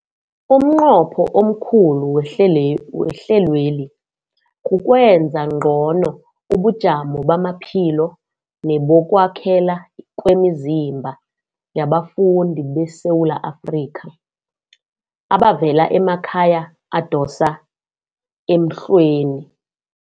Umnqopho omkhulu wehlelweli kukwenza ngcono ubujamo bamaphilo nebokwakhela kwemizimba yabafundi beSewula Afrika abavela emakhaya adosa emhlweni.